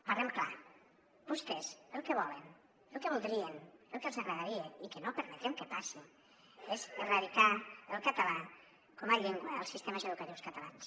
parlem clar vostès el que volen el que voldrien el que els agradaria i que no permetrem que passi és erradicar el català com a llengua als sistemes educatius catalans